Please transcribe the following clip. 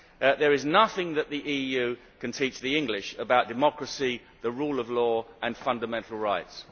There is nothing that the EU can teach the English about democracy, the rule of law and fundamental rights.